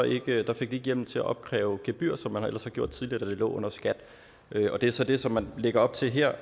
ikke hjemmel til at opkræve gebyrer som man ellers havde gjort tidligere da det lå under skat det er så det som man lægger op til her